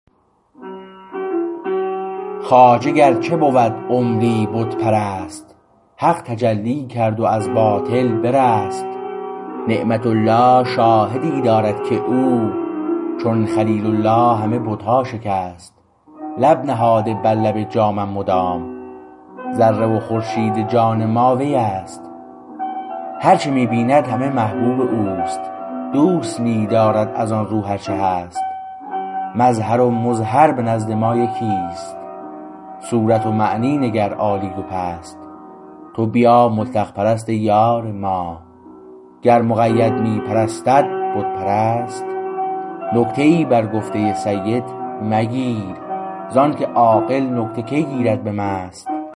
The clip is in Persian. خواجه گرچه بود عمری بت پرست حق تجلی کرد و از باطل برست نعمت الله شاهدی دارد که او چون خلیل الله همه بتها شکست لب نهاده بر لب جامم مدام ذره و خورشید جان مات ویست هرچه می بیند همه محبوب اوست دوست می دارد از آن رو هر چه هست مظهر و مظهر به نزد ما یکی است صورت و معنی نگر عالی و پست تو بیا مطلق پرست ای یار ما گر مقید می پرستد بت پرست نکته ای بر گفته سید مگیر زانکه عاقل نکته کی گیرد به مست